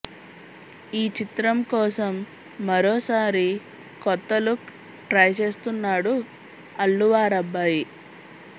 ఈ చిత్రం కోసం మరోసారి కొత్త లుక్ ట్రై చేస్తున్నాడు అల్లు వారబ్బాయి